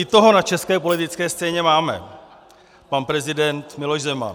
I toho na české politické scéně máme - pan prezident Miloš Zeman.